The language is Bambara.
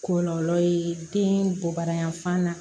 Kɔlɔlɔ ye den bɔbaliya yan fan na